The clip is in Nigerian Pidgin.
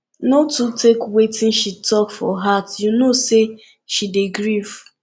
no too take wetin she talk for heart you know sey she dey grief